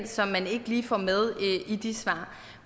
som man ikke lige får med i de svar